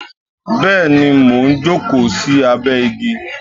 Bẹẹni, mo ń jókòó sí abẹ igi